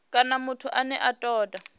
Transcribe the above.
kana muthu ane a toda